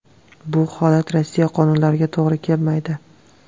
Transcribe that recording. Bu holat Rossiya qonunlariga to‘g‘ri kelmaydi.